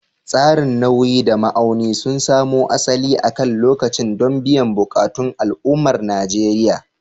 Tsarin nauyi da ma'auni sun samo asali akan lokaci don biyan buƙatun al'ummar Najeriya.